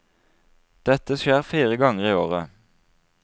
Dette skjer fire ganger i året.